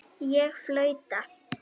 Ég flauta.